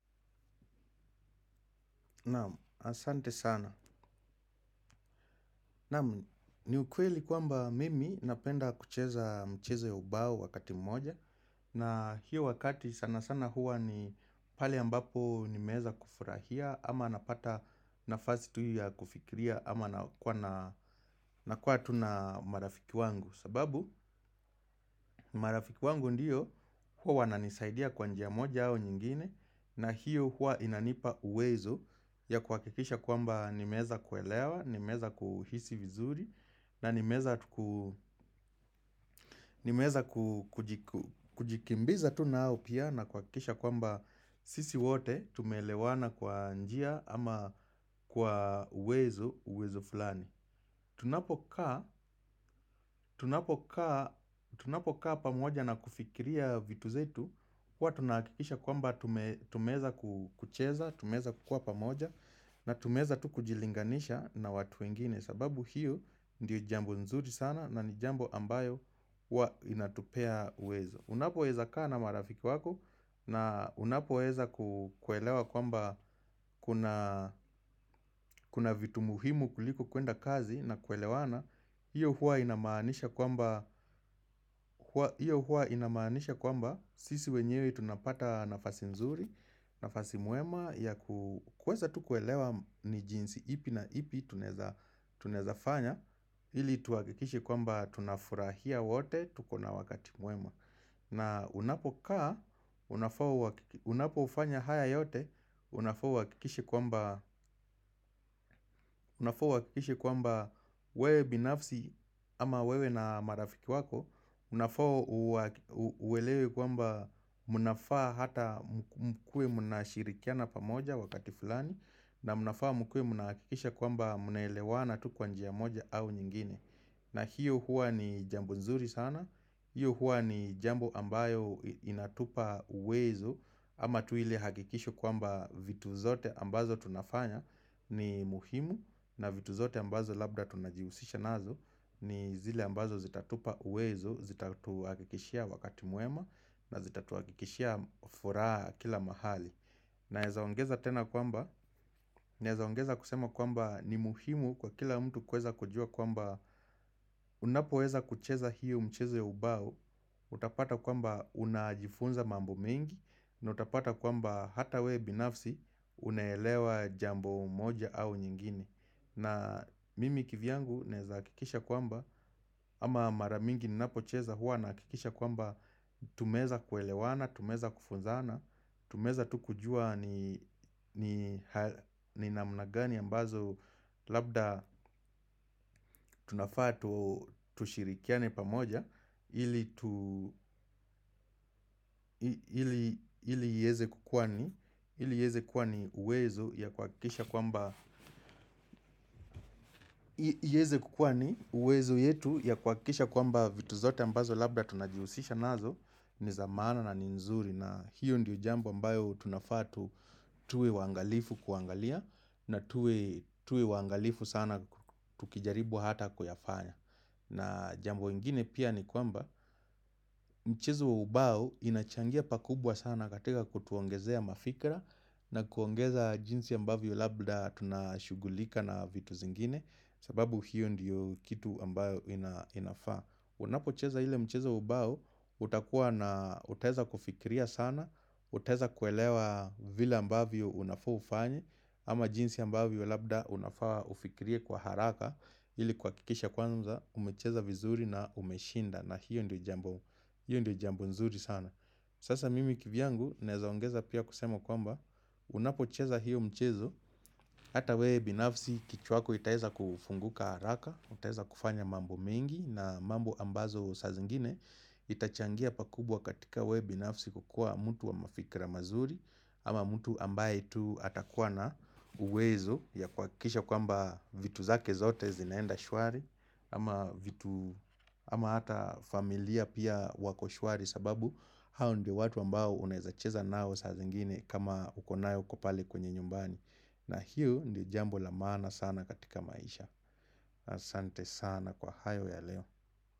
Na'am, asante sana. Na'am, ni ukweli kwamba mimi napenda kucheza mchezo ya ubao wakati mmoja, na hiyo wakati sana sana huwa ni pale ambapo nimeweza kufurahia ama napata nafasi tu ya kufikiria ama nakua na, nakua tu na marafiki wangu. Sababu marafiki wangu ndiyo huwa wananisaidia kwa njia moja au nyingine na hiyo huwa inanipa uwezo ya kuhakikisha kwamba nimeweza kuelewa, nimeweza kuhisi vizuri na nimeweza ku nimeweza kujikimbiza tu nayo pia na kuhakikisha kwamba sisi wote tumeelewana kwa njia ama kwa uwezo, uwezo fulani. Tunapokaa Tunapo kaa pamoja na kufikiria vitu zetu huwa tunahakikisha kwamba tumeweza kucheza, tumeweza kukua pamoja na tumeweza tu kujilinganisha na watu wengine sababu hiyo ndiyo jambo nzuri sana na jambo ambayo huwa inatupea uwezo. Unapoweza kaa na marafiki wako na unapoweza kuelewa kwamba kuna kuna vitu muhimu kuliko kuenda kazi na kuelewana, hiyo hiyo huwa inamaanisha kwamba sisi wenyewe tunapata nafasi nzuri, nafasi mwema ya kuweza tu kuelewa ni jinsi ipi na ipi tunaeza tunaezafanya ili tuhakikishe kwamba tunafurahia wote tuko na wakati mwema. Na unapokaa, unapofanya haya yote, unafaa uhakikishe kwamba uhakikishe kwamba wewe binafsi ama wewe na marafiki wako Unafaa uelewe kwamba mnafaa hata mkuwe mnashirikiana pamoja wakati fulani na mnafaa mkuwe mnahakikisha kwamba mnaelewana tu kwa njia moja au nyingine. Na hiyo huwa ni jambo nzuri sana, hiyo huwa ni jambo ambayo inatupa uwezo ama tu ile hakikisho kwamba vitu zote ambazo tunafanya ni muhimu na vitu zote ambazo labda tunajihusisha nazo ni zile ambazo zitatupa uwezo, zitatuhakikishia wakati mwema na zitatuhakikishia furaha kila mahali. Naeza ongeza tena kwamba, naeza ongeza kusema kwamba ni muhimu kwa kila mtu kuweza kujua kwamba unapoweza kucheza hiyo mchezo ya ubao, utapata kwamba unajifunza mambo mengi, na utapata kwamba hata wewe binafsi unaelewa jambo moja au nyingine. Na mimi kivyangu naeza hakikisha kwamba, ama mara mingi ninapocheza huwa nahakikisha kwamba tumeweza kuelewana, tumeweza kufunzana, tumeweza tu kujua ni ni namna gani ambazo labda tunafaa tushirikiane pamoja ili ieze kuwa ni uwezo iweze kukuwa ni uwezo yetu ya kuhakikisha kwamba vitu zote ambazo labda tunajihusisha nazo ni za maana na nzuri. Na hiyo ndiyo jambo ambayo tunafaa tu tuwe waangalifu kuangalia na tuwe, tuwe waangalifu sana tukijaribu hata kuyafanya. Na jambo ingine pia ni kwamba mchezo wa ubao inachangia pakubwa sana katika kutuongezea mafikra na kuongeza jinsi ambavyo labda tunashughulika na vitu zingine sababu hiyo ndiyo kitu ambayo inafaa. Unapocheza ile mchezo wa ubao, utakuwa na, utaeza kufikiria sana, utaeza kuelewa vile ambavyo unafaa ufanye Ama jinsi ambavyo labda unafaa ufikirie kwa haraka, ili kuhakikisha kwanza, umecheza vizuri na umeshinda na hiyo ndio jambo, hiyo ndio jambo nzuri sana Sasa mimi kivyangu, naeza ongeza pia kusema kwamba, unapocheza hiyo mchezo Hata wewe binafsi kichwa yako itaeza kufunguka haraka, utaeza kufanya mambo mengi na mambo ambazo saa zingine itachangia pakubwa katika wewe binafsi kukua mtu wa mafikra mazuri. Ama mtu ambaye tu atakuwa na uwezo ya kuhakikisha kwamba vitu zake zote zinaenda shwari, ama vitu, ama hata familia pia wako shwari sababu hao ndio watu ambao unaeza cheza nao saa zingine kama uko nao pale kwenye nyumbani. Na hiyo ndio jambo la maana sana katika maisha. Asante sana kwa hayo ya leo.